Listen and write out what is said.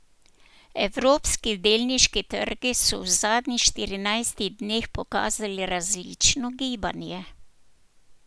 Evropski delniški trgi so v zadnjih štirinajstih dneh pokazali različno gibanje.